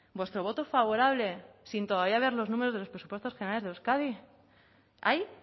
vuestro voto favorable sin todavía ver los números de los presupuestos generales de euskadi ahí